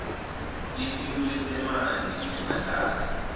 litiko letemanti nemahlatsi